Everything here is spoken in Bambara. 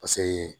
Paseke